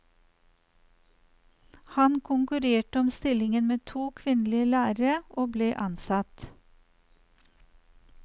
Han konkurrerte om stillingen med to kvinnelige lærere, og ble ansatt.